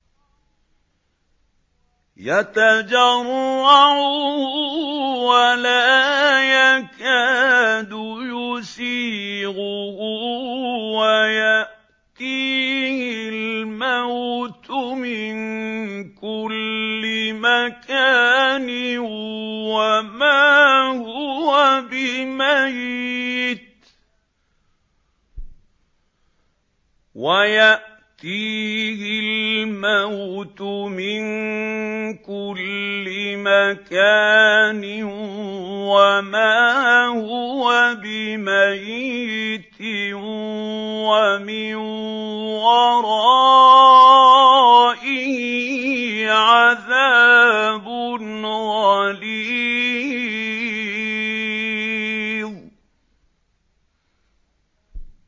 يَتَجَرَّعُهُ وَلَا يَكَادُ يُسِيغُهُ وَيَأْتِيهِ الْمَوْتُ مِن كُلِّ مَكَانٍ وَمَا هُوَ بِمَيِّتٍ ۖ وَمِن وَرَائِهِ عَذَابٌ غَلِيظٌ